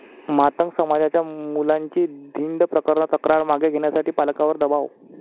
मातंग समाजाच्या मुलांची धिंड प्रकरण, तक्रार मागे घेण्यासाठी पालकांवर दबाव?